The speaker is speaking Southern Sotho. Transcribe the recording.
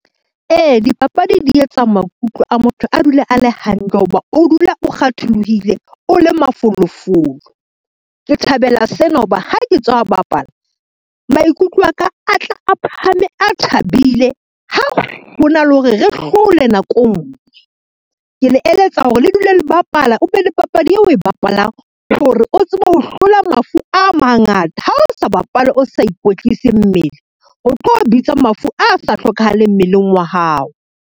Ee, dipapadi di etsa maikutlo a motho a dule a le hantle ho ba o dule o kgatholohile, o le mafolofolo. Ke thabela sena ho ba ha ke tswa bapala maikutlo a ka a tla a phahame, a thabile, ha ho na le hore re hlole nako e ngwe. Ke le eletsa hore le dule le bapala, o be le papadi eo oe bapalang hore o tsebe ho hlola mafu a mangata, ha o sa bapale, o sa ikwetlise mmele o tlo bitsa mafu a sa hlokahaleng mmeleng wa hao.